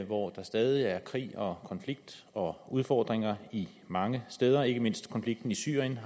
hvor der stadig er krig og konflikter og udfordringer mange steder ikke mindst konflikten i syrien